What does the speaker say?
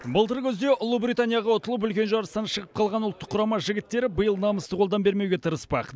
былтыр күзде ұлыбританияға ұтылып үлкен жарыстан шығып қалған ұлттық құрама жігіттері биыл намысты қолдан бермеуге тырыспақ